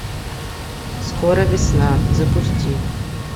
скоро весна запусти